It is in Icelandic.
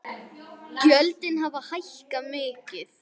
Gjöldin hafi hækkað mikið.